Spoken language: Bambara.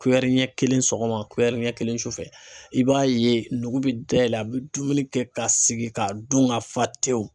ɲɛ kelen sɔgɔma ɲɛ kelen sufɛ i b'a ye nugu bɛ dayɛlɛ a bɛ dumuni kɛ ka sigi k'a dun ka fa tewu.